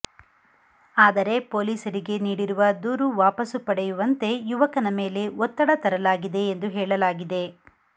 ಆದರೆ ಪೊಲೀಸರಿಗೆ ನೀಡಿರುವ ದೂರು ವಾಪಸು ಪಡೆಯುವಂತೆ ಯುವಕನ ಮೇಲೆ ಒತ್ತಡ ತರಲಾಗಿದೆ ಎಂದು ಹೇಳಲಾಗಿದೆ